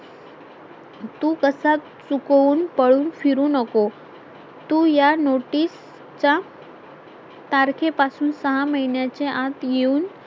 तू कसा चुकवून पळून फिरू नको तू या notice च्या तारखेपासून सहा महिन्याच्या आत येऊन